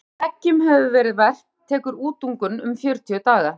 eftir að eggjunum hefur verið verpt tekur útungun um fjörutíu daga